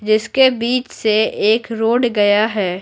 जिसके बीच से एक रोड गया है।